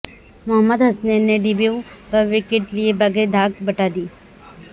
محمد حسنین نے ڈیبیو پر وکٹ لیے بغیر ہی دھاک بٹھا دی